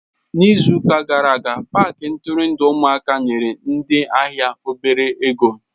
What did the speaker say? N'izu gara aga, paaki nturundu ụmụaka nyere ndị ahịa obele ego.